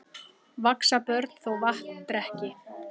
Vaxa börn þó vatn drekki.